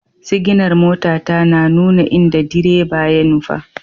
Siginar motata na nuna inda direba ya nufa.